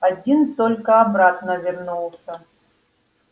один только обратно вернулся